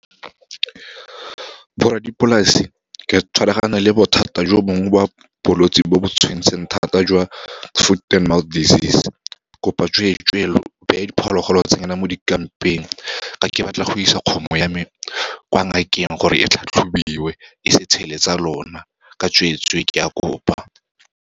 Borradipolase ka tshwaragano le bothata jo bongwe ba bolwetse bo bo tshwanetseng thata jwa foot and mouth disease, kopa tsweetswe lo beye diphologolo tsa nyena mo dikampeng, ka ke batla go isa kgomo ya me kwa ngakeng, gore e tlhatlhobiwe, e se tshele tsa lona. Ka tsweetswe ke a kopa.